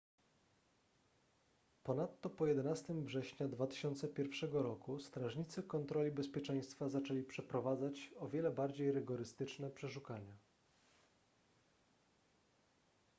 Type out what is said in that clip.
ponadto po 11 września 2001 roku strażnicy kontroli bezpieczeństwa zaczęli przeprowadzać o wiele bardziej rygorystyczne przeszukania